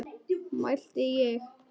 mælti ég.